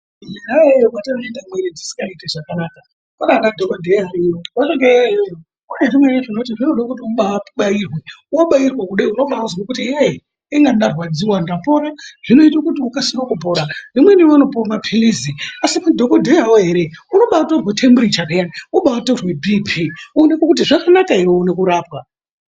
Khona iyoyo vekuti vanoite miviri dzisikaiti zvakanaka kwaanana dhokodheya variyo vanenge variyo iyoyoyo pane zvimwe zvinoda munhu apwairwe wabairwa kudai unombaizwe kuti yeyi Inga ndarwadziwa ndapore zvinoite kuti ukasire kupora vamweni vanopiwa mapilitsi asi madhokoteya woo heree unombayitorwe temburicha peyani wobayi torwe bp zvioneke zvakanaka here uwone kurapwa.